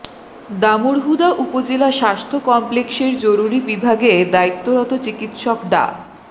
দামুড়হুদা উপজেলা স্বাস্থ্য কমপ্লেক্সের জরুরি বিভাগে দায়িত্বরত চিকিৎসক ডা